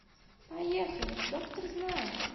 поехали доктор знает